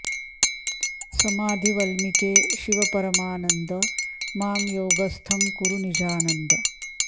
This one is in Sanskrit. समाधि वल्मीके शिव परमानन्द मां योगस्थं कुरु निजानन्द